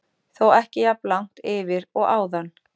Þó ekki jafn langt yfir og áðan.